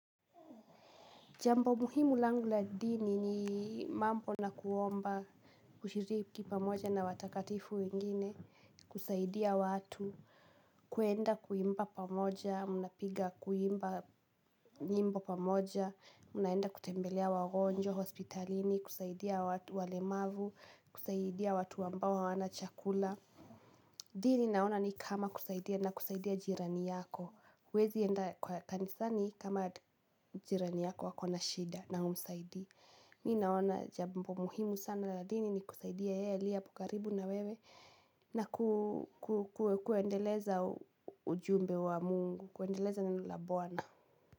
Jambo muhimu langu la dini ni mambo na kuomba, kushiriki pamoja na watakatifu wengine, kusaidia watu, kuenda kuimba pamoja, munapiga kuimba nyimbo pamoja, munaenda kutembelea wagonjwa, hospitalini, kusaidia walemavu, kusaidia watu ambao hawana chakula. Dini naona ni kama kusaidia na kusaidia jirani yako Wezienda kwa kanisani kama jirani yako ako na shida na umsaidi ni naona jambo muhimu sana la dini ni kusaidia elia pukaribu na wewe na kuendeleza ujumbe wa mungu, kuendeleza neno la bwana.